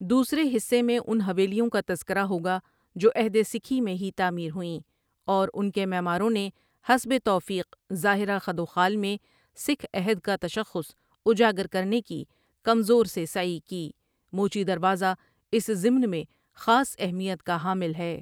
دوسرے حصے میں ان حوایلیوں کا تذکرہ ہوگا جو عہد سکھی میں ہی تعمیر ہوئیں اور ان کے معماروں نے حسب توفیق ظاہرہ خدوخال میں سکھ عہد کا تشخص اجاگر کرنے کی کمزور سے سعی کی موچی دروازہ اس ضمن میں خاص اہمیت کا حامل ہے ۔